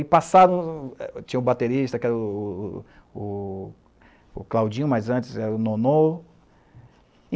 E passaram... Eh tinha o baterista, que era o o o o o o Claudinho, mas antes era o Nonô.